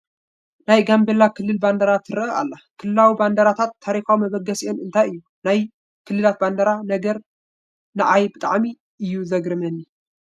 ናይ ጋምቤላ ክልል ባንዴራ ትርአ ኣላ፡፡ ክልላዊ ባንዲራታት ታሪካዊ መበገሲአን እንታይ እዩ፡፡ ናይ ክልላት ባንዲራ ነገር ንዓይ ብጣዕሚ እዩ ዝገርመኒ፡፡